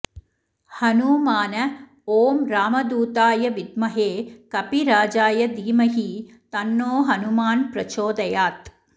हनुमान ॐ रामदूताय विद्महे कपिराजाय धीमहि तन्नो हनुमान् प्रचोदयात्